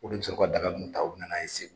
K'olu bɛ sɔrɔ ka daga nunnu ta o bɛna na ye Segu.